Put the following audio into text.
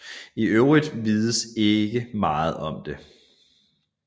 I øvrigt vides ikke meget om det